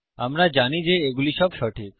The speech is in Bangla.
আমরা জানি যে এইগুলি সব সঠিক